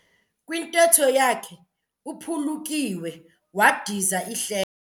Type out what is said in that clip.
Kwintetho yakhe uphulukiwe wadiza ihlebo.